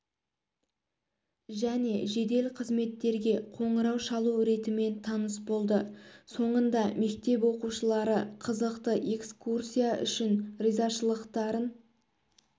және жедел қызметтерге қоңырау шалу ретімен таныс болды соңында мектеп оқушылары қызықты экскурсия үшін ризашылықтарын